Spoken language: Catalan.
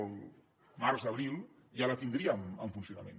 al març abril ja la tindríem en funcionament